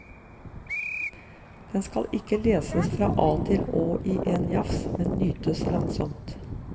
Den skal ikke leses fra a til å i én jafs, men nytes langsomt.